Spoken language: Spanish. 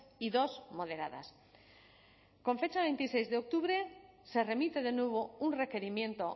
y dos moderadas con fecha veintiséis de octubre se remite de nuevo un requerimiento